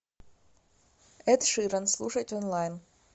эд ширан слушать онлайн